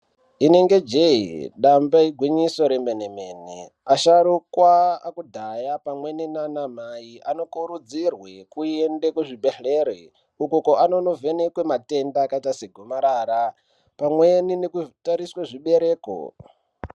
Inenge jee damba igwinyiso remene mene asharukwa akudhaya pamweni nanamai anokurudzirwe kuende kuzvibhedhlere ukoko anonovhenekwa matenda akaite segomarara pamweni nekutariswe zvibereko.